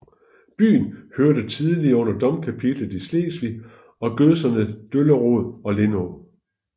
Byen hørte tidligere under Domkapitel i Slesvig og gødserne Dollerød og Lindå